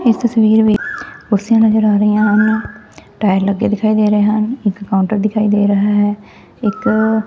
ਇਸ ਤਸਵੀਰ ਕੁਰਸੀਆ ਨਜ਼ਰ ਆ ਰਹੀ ਹਨ ਟਾਇਰ ਲੱਗੇ ਦਿਖਾਈ ਦੇ ਰਹੇ ਹਨ ਇੱਕ ਕਾਊਂਟਰ ਦਿਖਾਈ ਦੇ ਰਿਹਾ ਹੈ ਇੱਕ।